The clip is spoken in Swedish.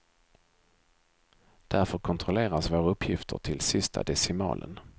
Därför kontrolleras våra uppgifter till sista decimalen.